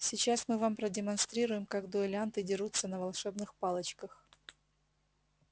сейчас мы вам продемонстрируем как дуэлянты дерутся на волшебных палочках